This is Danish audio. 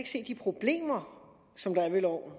de problemer som der er ved loven